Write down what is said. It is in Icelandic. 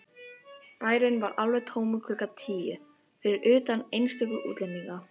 Bærinn var alveg tómur klukkan tíu, fyrir utan einstöku útlendinga.